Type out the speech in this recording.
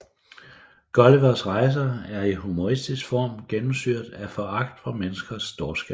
Gullivers rejser er i humoristisk form gennemsyret af foragt for menneskers dårskab